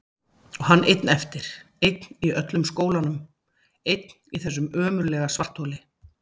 Og hann einn eftir, einn í öllum skólanum, einn í þessu ömurlega svartholi!